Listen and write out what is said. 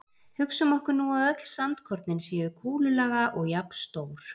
Hugsum okkur nú að öll sandkornin séu kúlulaga og jafnstór.